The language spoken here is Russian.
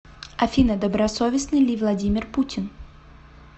афина добросовестный ли владимир путин